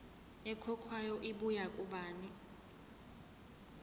ekhokhwayo ibuya kubani